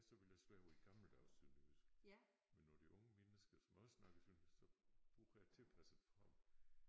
Så ville jeg slå over i gammeldags sønderjysk. Men når det unge mennesker som også snakker sønderjysk så bruger jeg tilpasset form